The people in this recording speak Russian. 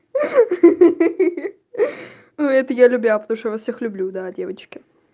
ха ха ну это я любя потому что я вас всех люблю да девочки